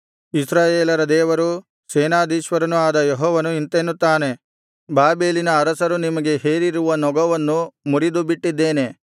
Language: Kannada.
ಇಸ್ರಾಯೇಲರ ದೇವರೂ ಸೇನಾಧೀಶ್ವರನೂ ಆದ ಯೆಹೋವನು ಇಂತೆನ್ನುತ್ತಾನೆ ಬಾಬೆಲಿನ ಅರಸರು ನಿಮಗೆ ಹೇರಿರುವ ನೊಗವನ್ನು ಮುರಿದುಬಿಟ್ಟಿದ್ದೇನೆ